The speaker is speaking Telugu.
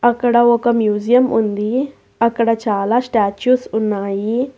అక్కడ ఒక మ్యూజియం ఉంది అక్కడ చాలా స్టాచుస్ ఉన్నాయి.